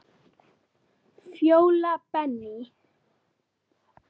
Fjóla Benný.